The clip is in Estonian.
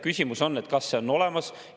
Küsimus on: kas see on olemas?